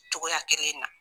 Cogoya kelen na